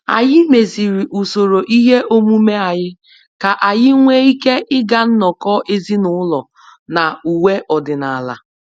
Anyị meziri usoro ihe omume anyị ka anyị nwee ike ịga nnọkọ ezinụlọ na uwe ọdịnala